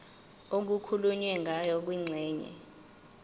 okukhulunywe ngayo kwingxenye